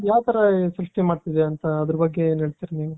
ಯಾವ ತರ ಸೃಷ್ಟಿ ಮಾಡ್ತಾ ಇದೆ ಅಂತ ಅದರ ಬಗ್ಗೆ ಏನ್ ಹೇಳ್ತೀರ ನೀವು .